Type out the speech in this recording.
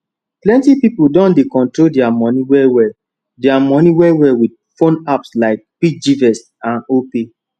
plenty pipo don dey control dia money wellwell dia money wellwell with phone apps like piggyvest and opay